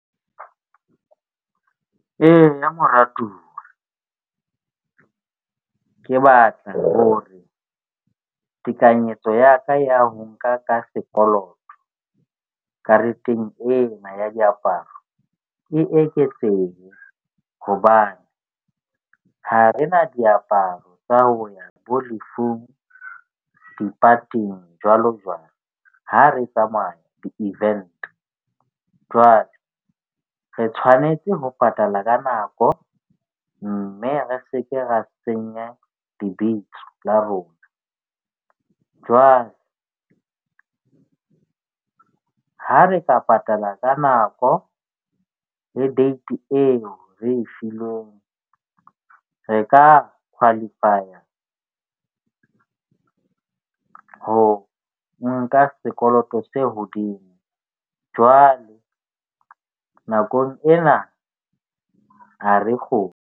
Eya, moratuwa ke batla hore tekanyetso ya ka ya ho nka ka sekoloto kareteng ena ya diaparo e eketsehe. Hobane ha rena diaparo tsa ho ya bo lefung, di-party-ing jwalo jwalo ha re tsamaya di- event. Jwale re tshwanetse ho patala ka nako. Mme re seke ra senya lebitso la rona. Jwale ha re ka patala ka nako le date eo re e filweng re ka qualify ho nka sekoloto se hodimo. Jwale nakong ena ha re kgone.